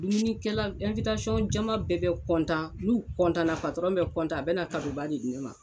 Dumunikɛla caman bɛɛ bɛ n'u na bɛ a bɛ na ba de di ne ma